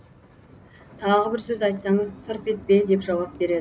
тағы бір сөз айтсаңыз тырп етпе деп жауап береді